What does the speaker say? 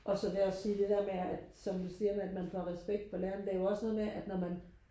og så lære og sige det der med at som du siger med at man får respekt for læreren det er jo også noget med at når man